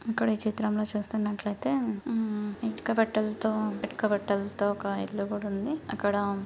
ఇక్కడ ఈ చిత్రంలో చూస్తున్నట్లయితే ఇటుక బేట్టెలతో ఇటుక బేడ్డలతో ఒక ఇల్లు కూడా ఉంది. ఇక్కడ--